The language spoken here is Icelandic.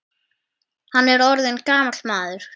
Hann er orðinn gamall maður.